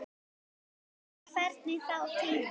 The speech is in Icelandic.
En hvernig gengur þá tíminn?